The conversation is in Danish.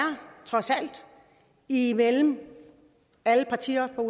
imellem alle partier med